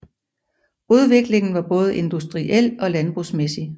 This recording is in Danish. Udviklingen var både industriel og landbrugsmæssig